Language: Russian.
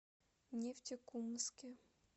нефтекумске